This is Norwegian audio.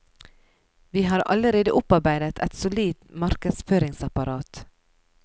Vi har allerede opparbeidet et solid markedsføringsapparat.